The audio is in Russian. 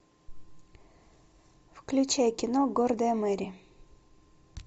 включай кино гордая мэри